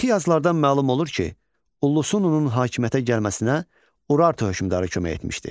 Mixi yazılardan məlum olur ki, Ullusununun hakimiyyətə gəlməsinə Urartu hökmdarı kömək etmişdi.